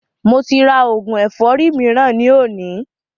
Mo ti rà oògùn ẹ̀fọ́rì mìíràn ni òní